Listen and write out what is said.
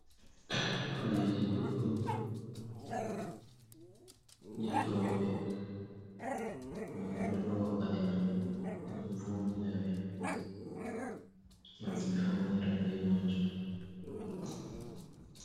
Faɗeji ɗuɗɗum je rooɓe, rooɓe ɗolowa paɗe mai ngam vodinaɓe, ngam ɓe faunira be majum.